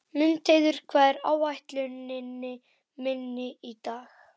Mundheiður, hvað er á áætluninni minni í dag?